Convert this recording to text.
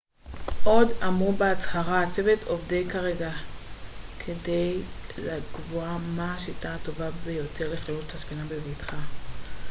עוד אמרו בהצהרה הצוות עובד כרגע כדי לקבוע מה השיטה הטובה ביותר לחילוץ הספינה בבטחה